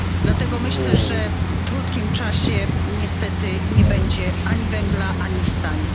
Dlatego myślę, że w krótkim czasie niestety nie będzie ani węgla, ani stali.